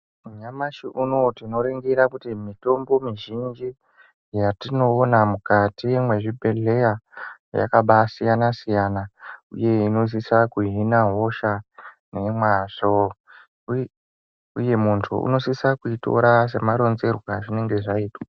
Nyamashi unou tinoringira kuti mitombo mizhinji yatinoona mukati mwezvibhedhleya yakabaasiyana siyana uye inosisa kuhina hosha nemwazvo uye munthu unosisa kuitora semaronzerwe azvinenge zvaitwa.